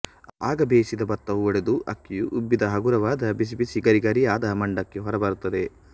ಆಗ ಬೇಯಿಸಿದ ಬತ್ತವು ಒಡೆದು ಅಕ್ಕಿಯು ಉಬ್ಬಿದ ಹಗರವಾದ ಬಿಸಿ ಬಿಸಿ ಗರಿ ಗರಿಯಾದ ಮಂಡಕ್ಕಿ ಹೊರಬರುತ್ತದೆ